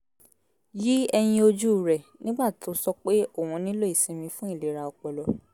yí ẹyin ojú rẹ̀ nígbà tó sọ pé òun nílò ìsinmi fún ìlera ọpọlọ